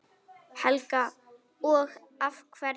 Helga: Og af hverju?